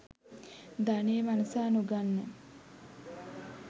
ධනය වනසා නොගන්න.